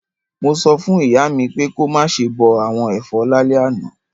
Mo so fún ìyá mi pé ko máse bo àwon èfọ́ lálẹ́ àná